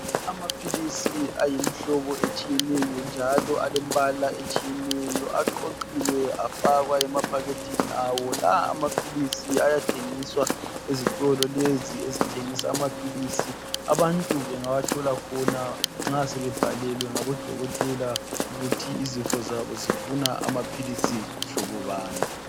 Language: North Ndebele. Amaphilisi ayimhlobo etshiyeneyo njalo alembala etshiyeneyo aqoqiwe afakwa emaphakethini awo la amaphilisi ayathengiswa ezitolo lezi ezithengisa amaphilisi abantu bengawathola khona nxa sebebhalelwe ngabodokotela ukuthi izifo zabo zifuna amaphilisi mhlobobani.